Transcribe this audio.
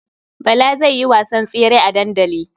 Bala zai yi wasan tsere a dandali.